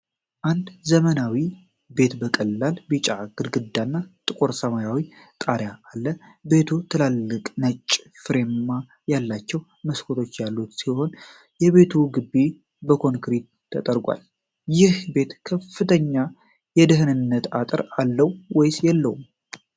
አንድ ዘመናዊ ቤት በቀላል ቢጫ ግድግዳ እና ጥቁር ሰማያዊ ጣሪያ አለ። ቤቱ ትላልቅ ነጭ ፍሬም ያላቸው መስኮቶች ያሉት ሲሆን የቤቱ ግቢ በኮንክሪት ተጠርጓል። ይህ ቤት ከፍተኛ የደኅንነት አጥር አለው ወይስ የለውም?